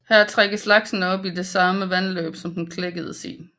Her trækker laksen op i det samme vandløb som den klækkedes i